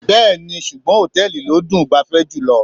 Bẹ́ẹ̀ni, ṣùgbọ́n hòtẹ́ẹ̀lì ló dùn -un gbafẹ́ jùlọ.